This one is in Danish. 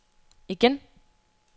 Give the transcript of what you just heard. igen